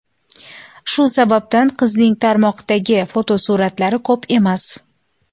Shu sababdan qizining tarmoqdagi fotosuratlari ko‘p emas.